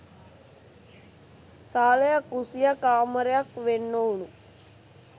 සාලයක් කුස්සියක් කාමරයක් වෙන් ‍නොවුනු